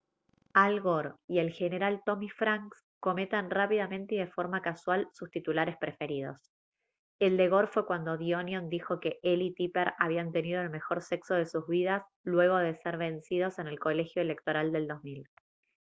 al gore y el general tommy franks comentan rápidamente y de forma casual sus titulares preferidos el de gore fue cuando the onion dijo que él y tipper habían tenido el mejor sexo de sus vidas luego de ser vencidos en el colegio electoral del 2000